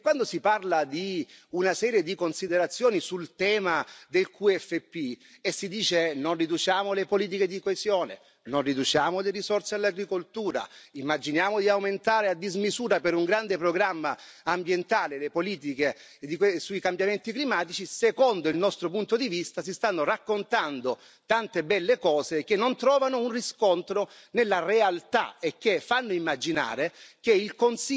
Quando si parla di una serie di considerazioni sul tema del QFP e si dice non riduciamo le politiche di coesione, non riduciamo le risorse all'agricoltura, immaginiamo di aumentare a dismisura per un grande programma ambientale le politiche sui cambiamenti climatici, secondo il nostro punto di vista si stanno raccontando tante belle cose che però non trovano un riscontro nella realtà e che fanno immaginare che il